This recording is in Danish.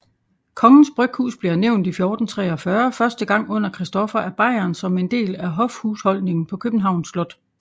Kongens bryghus bliver nævnt i 1443 første gang under Christoffer af Bayern som en del af hofhusholdningen på Københavns Slot